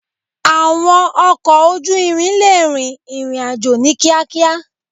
Àwọn ọkọ̀ ojú irin lè rin ìrìn àjò ní kíákíá.